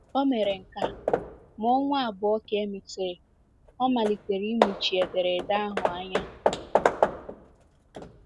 O mere nke a, ma ọnwa abụọ ka e mesịrị, ọ malitere ịmụchi ederede ahụ anya.